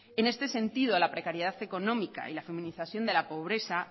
en este sentido la precariedad económica y la feminización de la pobreza